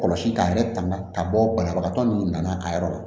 Kɔlɔsi k'a yɛrɛ tanga ka bɔ banabagatɔ minnu nana a yɔrɔ la